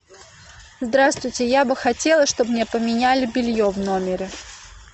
здравствуйте я бы хотела чтобы мне поменяли белье в номере